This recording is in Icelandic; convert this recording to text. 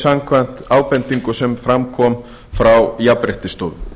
samkvæmt ábendingu sem fram kom frá jafnréttisstofu